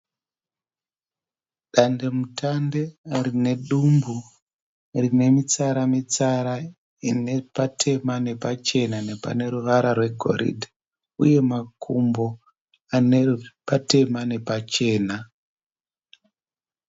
Dandemutande rinedumbu rinemitsara-mitsara inepatema nepachena nepaneruvara rwegoridhe uye makumbo anepatema nepachena.